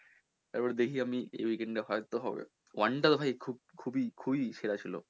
তারপরে দেখি আমি এই weekend এ হলে হয়তো হবে one টা তো ভাই খুব খুবই খুবই সেরা ছিলো